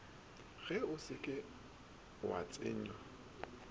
ge o se wa tsenya